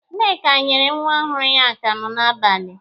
Nneka nyere nwa ọhụrụ ya akamụ n'abalị